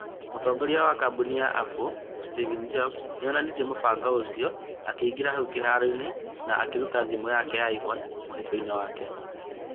Mũtongoria wa kambuni ya Apple, Steve Jobs, nĩ onanirie mũbango ũcio akĩingĩra hau kĩhaaro-inĩ na akĩruta thimũ ya iPhone mũhuko-inĩ wake.